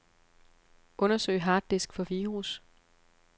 Undersøg harddisk for virus.